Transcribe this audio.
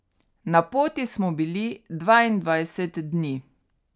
Na poti smo bili dvaindvajset dni.